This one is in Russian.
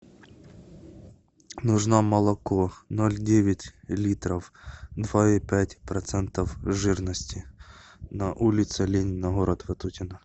нужно молоко ноль девять литров два и пять процентов жирности на улице ленина город ватутино